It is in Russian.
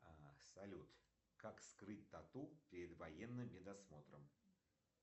салют как скрыть тату перед военным медосмотром